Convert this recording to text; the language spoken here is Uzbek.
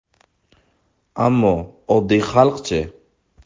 Ammo oddiy xalqchi?